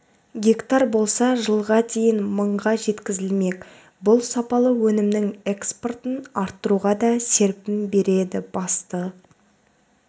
гектар болса жылға дейін мыңға жеткізілмек бұл сапалы өнімнің экспортын арттыруға да серпін береді басты